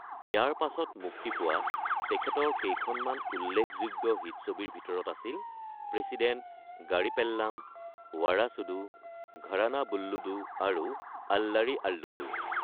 ইয়াৰ পাছত মুক্তি পোৱা তেখেতৰ কেইখনমান উল্লেখযোগ্য হিট ছবিৰ ভিতৰত আছিল প্ৰেচিডেণ্ট গাৰি পেল্লাম, ৱাৰাচুডু, ঘৰানা বুল্লোডু আৰু আল্লাৰী আল্লুডু।